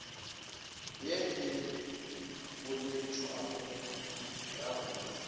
ye e boeletšwago ya go